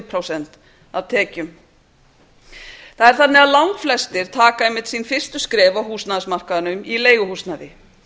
prósent af tekjum það er þannig að langflestir taka einmitt sín fyrstu skref af húsnæðismarkaðinum í leiguhúsnæði